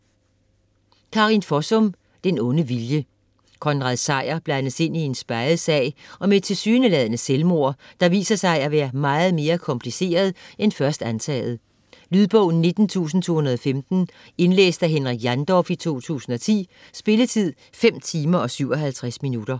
Fossum, Karin: Den onde vilje Konrad Sejer blandes ind i en speget sag om et tilsyneladende selvmord, der viser sig at være meget mere kompliceret end først antaget. Lydbog 19215 Indlæst af Henrik Jandorf, 2010. Spilletid: 5 timer, 57 minutter.